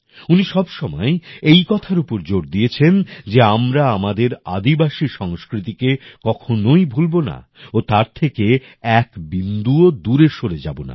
উনি সবসময়ই এই কথার উপর জোর দিয়েছেন যে আমরা আমাদের আদিবাসী সংস্কৃতিকে কখনোই ভুলবো না ও তার থেকে এক বিন্দুও দূরে সরে যাব না